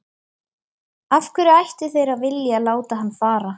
Af hverju ættu þeir að vilja láta hann fara?